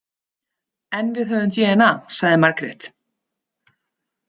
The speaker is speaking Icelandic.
En við höfum dna, sagði Margrét.